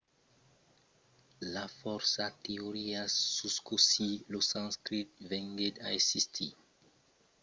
i a fòrça teorias sus cossí lo sanscrit venguèt a existir. una d'elas es a prepaus d'una migracion d'arians de l'oèst dins índia que portèron lor lenga amb eles